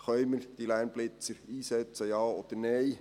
Können wir die Lärmblitzer einsetzen, ja oder nein?